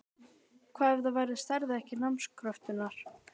Hvað ef ég stæðist ekki námskröfurnar?